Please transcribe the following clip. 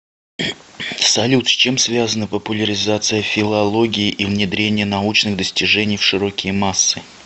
салют с чем связаны популяризация филологии и внедрение научных достижений в широкие массы